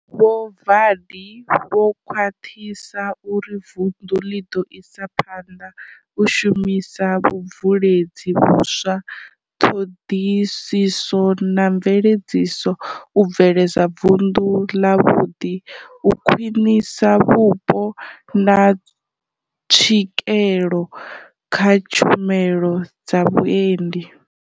Vho Vaḓi vho khwaṱhisa uri vundu ḽi ḓo isa phanḓa u shumisa vhubveledzi vhuswa, ṱhoḓisiso na mveledziso u bveledza vundu ḽavhuḓi u khwinisa vhupo na tswikelo kha tshumelo dza vhuendi.